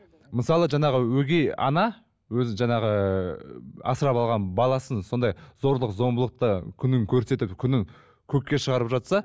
мысалы жаңағы өгей ана өзі жаңағы ыыы асырап алған баласын сондай зорлық зомбылықты күнін көрсетіп күнін көкке шығарып жатса